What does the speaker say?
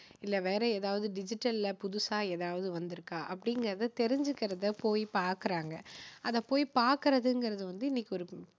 இல்ல, வேற ஏதாவது digital ல புதுசா எதாவது வந்துருக்கா? அப்படிங்குறதை தெரிஞ்சுக்குறதை போய் பாக்குறாங்க. அதை போய் பாக்கறதுங்குறது வந்து இன்னைக்கு ஒரு